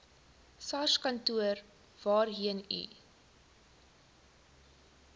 sarskantoor waarheen u